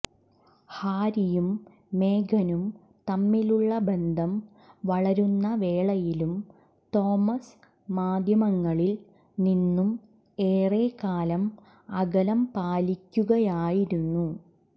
ഹാരിയും മേഗനും തമ്മിലുള്ള ബന്ധം വളരുന്ന വേളയിലും തോമസ് മാധ്യമങ്ങളിൽ നിന്നും ഏറെ കാലം അകലം പാലിക്കുകയായിരുന്നു